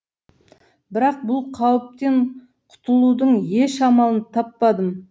бірақ бұл қауіптен құтылудың еш амалын таппадым